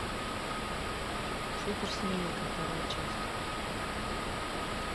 суперсемейка вторая часть